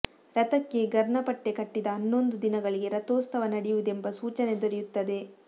ರಥಕ್ಕೆ ಗರ್ನಪಟ್ಟೆ ಕಟ್ಟಿದ ಹನ್ನೊಂದು ದಿನಗಳಿಗೆ ರಥೋತ್ಸವ ನಡೆಯುವುದೆಂಬ ಸೂಚನೆ ದೊರೆಯುತ್ತದೆ